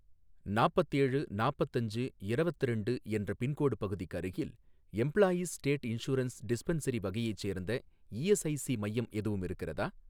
நாப்பத்தேழு நாப்பத்தஞ்சு இரவத்திரண்டு என்ற பின்கோடு பகுதிக்கு அருகில் எம்ப்ளாயீஸ் ஸ்டேட் இன்சூரன்ஸ் டிஸ்பென்சரி வகையைச் சேர்ந்த இஎஸ்ஐஸி மையம் எதுவும் இருக்கிறதா?